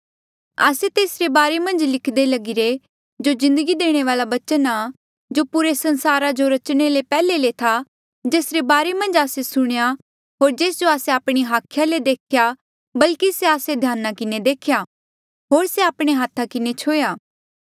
आस्से तेसरे बारे मन्झ लिखदे लगिरे जो जिन्दगी देणे वाल्आ बचन आ जो पुरे संसारा जो रचणे ले पैहले से था जेसरे बारे मन्झ आस्से सुणेयां होर जेस जो आस्से आपणी हाखिया ले देख्या बल्की से आस्से ध्याना किन्हें देख्या होर से आपणे हाथा किन्हें छुह्या